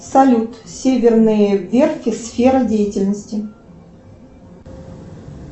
салют северные верфи сфера деятельности